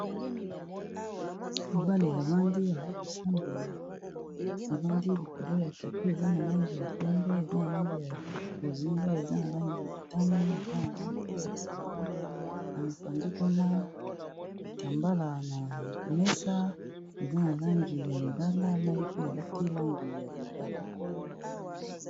Mobali avandi aza kosambela avandi likolo ya tapis eza na langi ya pembe eza na langi ya bozinga eza na langi ya motane eza na langi pe ya pondu na mopanzi kuna kitambala na mesa eza na langi ya lilala na ye pe alati langi ya lilala.